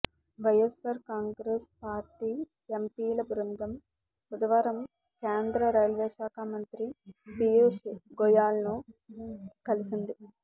YSR Congress party ఎంపీల బృందం బుధవారం కేంద్ర రైల్వేశాఖ మంత్రి పియూష్ గోయల్ను కలిసింది